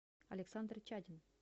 александр чадин